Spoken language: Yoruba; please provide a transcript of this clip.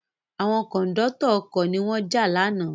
Àwọn Kòńdọ́tọ̀ ọkọ̀ ni wọ́n jà lánàá